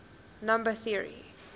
number theory